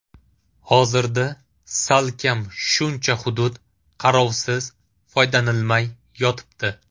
Hozirda salkam shuncha hudud qarovsiz, foydalanilmay yotibdi.